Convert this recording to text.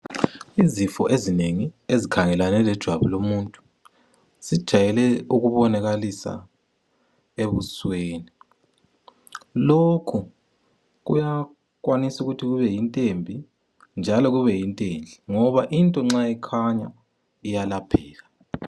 Izifo ezinengi ezikhangelane lejwabu lomuntu zijayele ukubonakalisa ebusweni, lokhu kuyakwanisa ukuthi kube iyinto embi njalo kubeyinto enhle ngoba into nxa ikhanya iyelapheka.